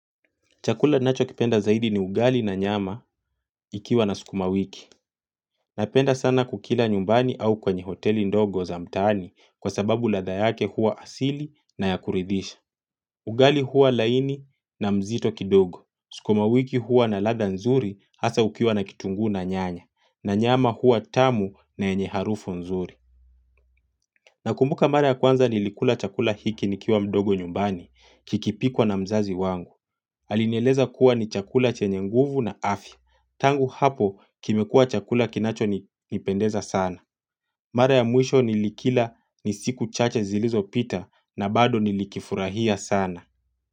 Chakula ninacho kipenda zaidi ni ugali na nyama ikiwa na sukuma wiki. Napenda sana kukila nyumbani au kwenye hoteli ndogo za mtaani kwa sababu ladha yake huwa asili na ya kuridhisha. Ugali huwa laini na mzito kidogo. Sukuma wiki huwa na ladha nzuri hasa ukiwa na kitunguu na nyanya. Na nyama huwa tamu na yenye harufu nzuri. Nakumbuka mara ya kwanza nilikula chakula hiki nikiwa mdogo nyumbani kikipikwa na mzazi wangu. Alinieleza kuwa ni chakula chenye nguvu na afya Tangu hapo kimekuwa chakula kinacho nipendeza sana. Mara ya mwisho nilikila ni siku chache zilizo pita na bado nilikifurahia sana.